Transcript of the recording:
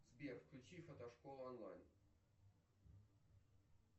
сбер включи фотошкола онлайн